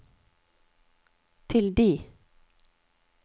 tilde